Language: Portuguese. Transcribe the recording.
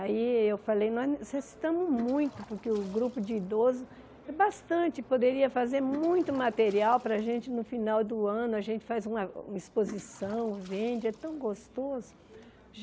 Aí eu falei, nós necessitamos muito, porque o grupo de idoso é bastante, poderia fazer muito material para a gente no final do ano, a gente faz uma exposição, vende, é tão gostoso.